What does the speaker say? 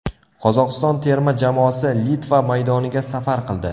Qozog‘iston terma jamoasi Litva maydoniga safar qildi.